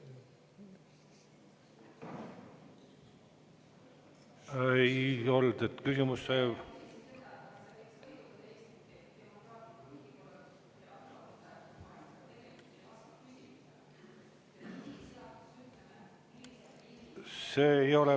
Ei olnud, küsimus sai …